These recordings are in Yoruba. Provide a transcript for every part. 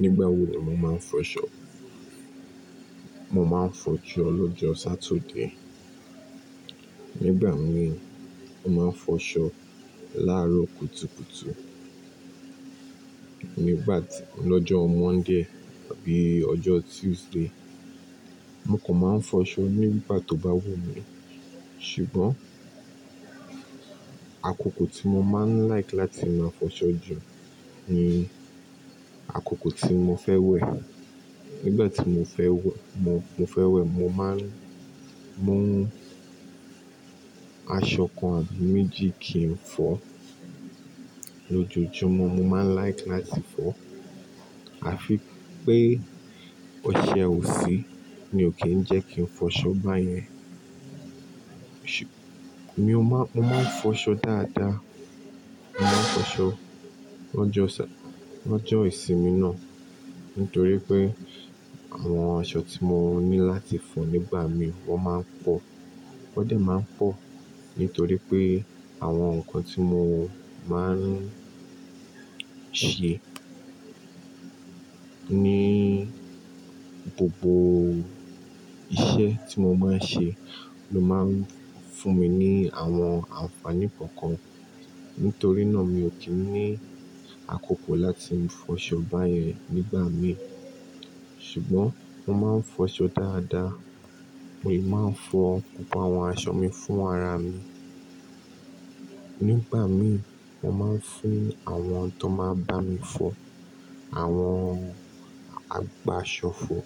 Nígbà wo ni mo máa ń fọṣọ? Mo máa ń fo so lọ́jọ́ Saturday. Nígbà mi, mo máa ń fọṣọ láàárọ̀ kùtùkùtù. Nígbà tí-- lọ́jọ́ Monday tàbí ọjọ́ Tuesday. Mo kan máa ń fọṣọ nígbà tó bá wù mí. Ṣùgbọ́n àkókò tí mo máa ń like láti máa fọṣọ jù ni àkókò tí mo fẹ́ wẹ̀. Nígbà tí mo fẹ́ we mo, mo fẹ́ wẹ̀, mo máa ń, mu, aṣọ kan abi méjì kì n fọ. Lójojujo, mo máa n like láti fọ. À fi pé ọṣẹ ò sí ni ò kí ń jẹ́ kí n fọṣọ báyẹn. Ṣùgb-- mi ò máa, mo máa ń fọṣọ dáadáa. Mo máa ń fọṣọ lọ́jọ́ Sa-- lọ́jọ́ ìsinmi náà. Nítorí pé àwọn aṣọ tí mo ní láti fọ nígbà mí wọ́n máa ń pọ̀. Wọ́n dẹ̀ máa ń pọ̀. Nítorí pé àwọn nǹkan tí mo máa ń ṣe ní gbogbo iṣẹ́ tí mo máa ń ṣe ló máa ń fún mi ní àwọn àǹfààní kọ̀ọ̀kan. Nítorí náà mi ò kí ń ní àkókò láti fọṣọ báyẹn nígbà mí. Ṣùgbọ́n mo máa ń fọṣọ dáadáa. Mi ò máa ń fọ gbogbo àwọn aṣọ mi fún ara mi. Nígbà mí, mo máa ń fún àwọn tó máa ń bá mi fọ, àwọn agbà-aṣọ fọ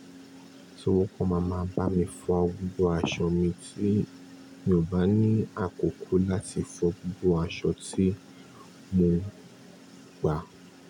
to o má maa bá mi fọ gbogbo aṣọ mi tí mi ò bá ní àkókò láti fọ gbogbo aṣọ tí mo gbà.